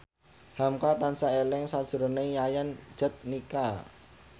hamka tansah eling sakjroning Yayan Jatnika